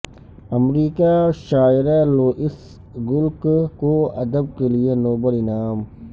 امریکہ شاعرہ Louise Gluck کو ادب کیلئے نوبل انعام